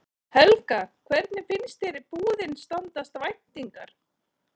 Helga: Hvernig finnst þér búðin standast væntingar?